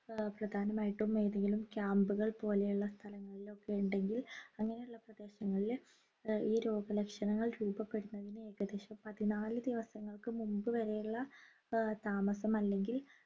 ഏർ പ്രധാനമായിട്ടും ഏതെങ്കിലും camp കൾ പോലെയുള്ള സ്ഥലങ്ങളിലൊക്കെ ഉണ്ടെങ്കിൽ അങ്ങനെയുള്ള പ്രദേശങ്ങളില് ഏർ ഈ രോഗലക്ഷണങ്ങൾ രൂപപെടുന്നതിന് ഏകദേശം പതിനാല് ദിവസങ്ങൾക്ക് മുമ്പ് വരെയുള്ള ഏർ താമസം അല്ലെങ്കിൽ